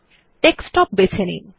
desktop বেছে নিন